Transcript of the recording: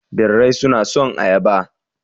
Birrai suna son ayaba.